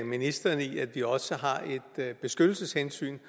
ministeren i at vi også har et beskyttelseshensyn